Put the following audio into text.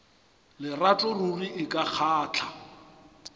lerato ruri e ka kgahla